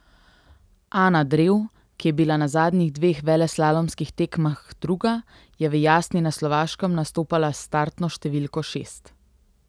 Ana Drev, ki je bila na zadnjih dveh veleslalomskih tekmah druga, je v Jasni na Slovaškem nastopala s startno številko šest.